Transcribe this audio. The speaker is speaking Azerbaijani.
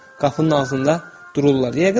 Qapının ağzında dururlar.